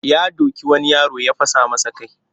Ya doki wani yaro ya fasa masa kai